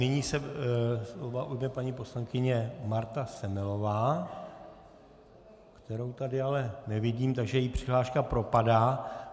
Nyní se slova ujme paní poslankyně Marta Semelová, kterou tady ale nevidím, takže její přihláška propadá.